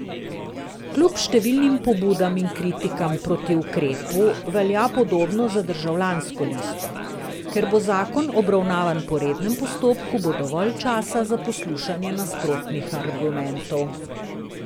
Kljub številnim pobudam in kritikam proti ukrepu velja podobno za Državljansko listo: 'Ker bo zakon obravnavan po rednem postopku, bo dovolj časa za poslušanje nasprotnih argumentov.